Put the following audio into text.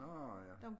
Nårh ja